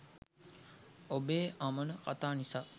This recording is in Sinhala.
ඔබේ අමන කතා නිසා